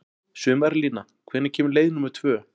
Sumarlína, hvenær kemur leið númer tvö?